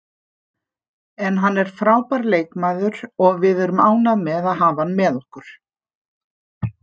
En hann er frábær leikmaður og við erum ánægðir með að hafa hann með okkur.